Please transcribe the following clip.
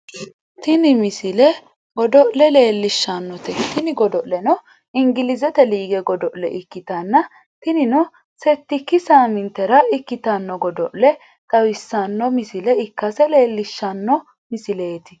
tini misile godo'le leelishshannote tini godo'leno ingilizte lige godo'le ikkitanna tinino settikki saamintera ikkitanno godo'le xawisanno misile ikkase leellishshano misleeti